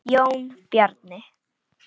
Jón Bjarni.